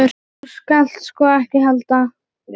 Þú skalt sko ekki halda.